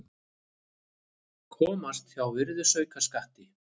Komast hjá virðisaukaskatti